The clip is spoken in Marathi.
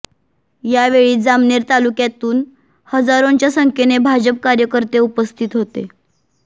या वेळी जामनेर तालुक्यातून हजारोंच्या संख्येने भाजप कार्यकर्ते उपस्थित होते